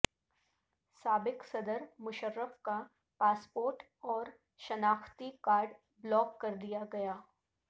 سابق صدر مشرف کا پاسپورٹ اور شناختی کارڈ بلاک کر دیا گیا